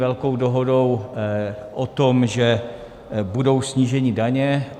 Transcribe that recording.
Velkou dohodou o tom, že budou sníženy daně.